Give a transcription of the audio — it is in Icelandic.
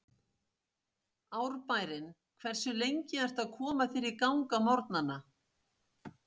Árbærinn Hversu lengi ertu að koma þér í gang á morgnanna?